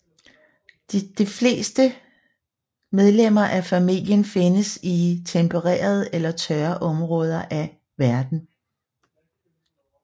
Det fleste medlemmer af familien findes i tempererede eller tørre områder af verden